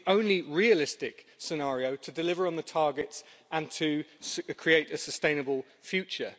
It's the only realistic scenario to deliver on the targets and to create a sustainable future.